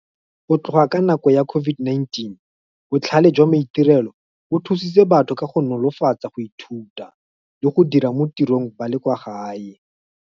Go tloga ka nako ya COVID-19, botlhale jwa maitirelo bo thusitse batho ka go nolofatsa go ithuta, le go dira mo tirong ba le kwa gae.